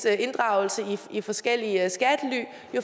inddragelse i forskellige at